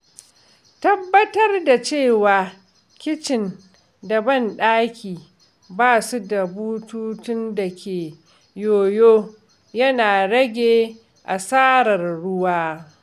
Tabbatar da cewa kicin da banɗaki ba su da bututun da ke yoyo yana rage asarar ruwa.